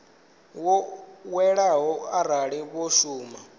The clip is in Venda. wo ḓoweleaho arali vho shuma